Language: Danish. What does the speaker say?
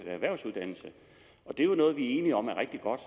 erhvervsuddannelse det er jo noget vi er enige om er rigtig godt